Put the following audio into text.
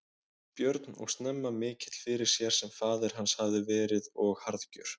Björn og snemma mikill fyrir sér sem faðir hans hafði verið og harðgjör.